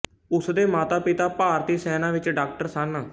ਉਸ ਦੇ ਮਾਤਾਪਿਤਾ ਭਾਰਤੀ ਸੇਨਾ ਵਿੱਚ ਡਾਕਟਰ ਸਨ